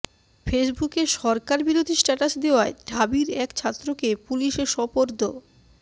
ফেসবুকে সরকারবিরোধী স্ট্যাটাস দেওয়ায় ঢাবির এক ছাত্রকে পুলিশে সোপর্দ